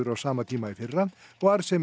á sama tíma í fyrra og arðsemi